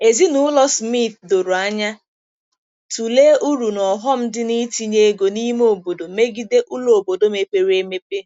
Ezinụlọ Smith doro anya tụlee uru na ọghọm dị na-itinye ego n'ime obodo megide ụlọ obodo mepere emepe.